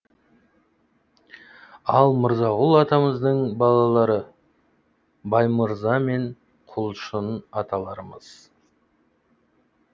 ал мырзағұл атамыздың балалары баймырза мен құлшын аталарымыз